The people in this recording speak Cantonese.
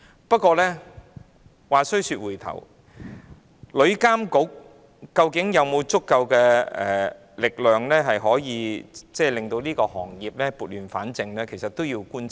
不過，話說回來，究竟旅監局有否足夠力量令旅遊業撥亂反正，仍有待觀察。